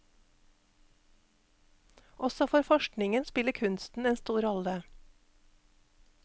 Også for forskningenspiller kunsten en stor rolle.